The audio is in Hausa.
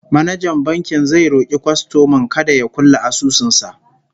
manajan bankin zai roki kwastoman kada ya kulle asusun sa